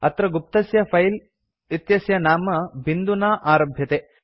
अत्र गुप्तस्य फिले इत्यस्य नाम बिन्दुना आरभ्यते